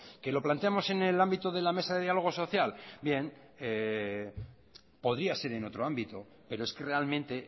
que lo planteamos en el ámbito de la mesa de diálogo social bien podía ser en otro ámbito pero es que realmente